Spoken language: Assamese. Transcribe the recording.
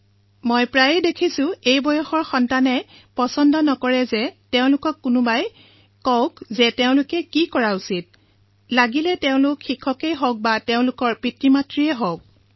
মই প্ৰায়েই দেখিছো যে এই বয়সৰ লৰাছোৱালীয়ে এইটো পচন্দ নকৰে যে তেওঁলোকক কোনোবাই কওক তেওঁলোকে কি কৰিব লাগে সেয়া লাগিলে তেওঁলোকৰ শিক্ষকেই হওক অথবা পিতৃমাতৃয়েই হওক